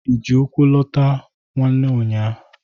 Ị ji ụkwụ lọta nwanne ụnyaa?